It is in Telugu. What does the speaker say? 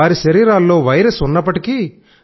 వారి శరీరాల్లో వైరస్ ఉన్నప్పటికీ